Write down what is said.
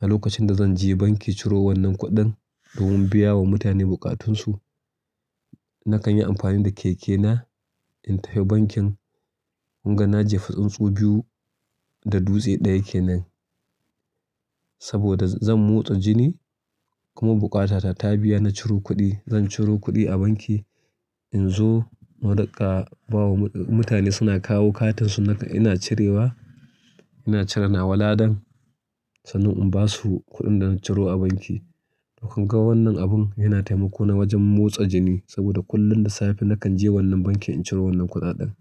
a lokacin da zanje banki ciro wannan kuɗin domin biya wa mutane bukatunsu. Nakan yi amfani da keke na in tafi bankin. Kun ga na jefi tsuntsu biyu da dutse ɗaya kenan. Saboda zan motsa jini kuma bukata ta tabiya na curo kudi. Zan ciro kuɗi a banki inzo na rika bawa mutane suna kawo katin su ina cirewa, ina cire nawa ladan sannan in basu kuɗin da na ciro a banki. Kunga wannan abun yana taimako na wajen motsa jini saboda kullum da safe nakan je wannan bankin in ciro wannan kuɗaɗen.